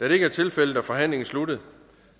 da det ikke er tilfældet er forhandlingen sluttet